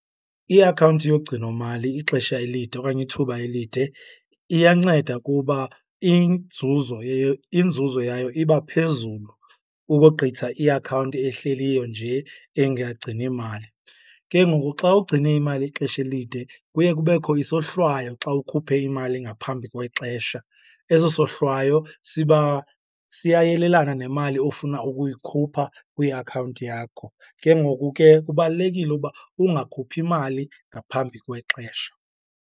I-account yogcinomali ixesha elide okanye ithuba elide iyanceda kuba inzuzo inzuzo yayo iba phezulu ukogqitha iakhawunti ehleliyo nje engagcini mali. Ke ngoku xa ugcine imali ixesha elide kuye kubekho isohlwayo xa ukhuphe imali ngaphambi kwexesha. Eso sohlwayo siba siyayelelana nemali ofuna ukuyikhupha kwiakhawunti yakho. Ke ngoku ke kubalulekile uba ungakhuphi mali ngaphambi kwexesha.